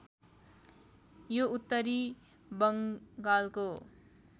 यो उत्तरी बङ्गालको